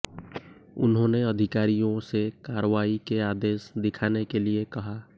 उन्होंने अधिकारियों से कार्रवाई के आदेश दिखाने के लिए कहा